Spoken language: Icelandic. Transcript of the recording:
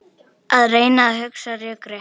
Að reyna að hugsa rökrétt